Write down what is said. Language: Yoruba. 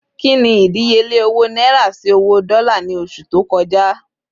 Kini ìdíyelé owó náírà sì owó dola ni oṣù tó kọja